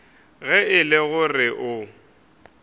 ge e le gore o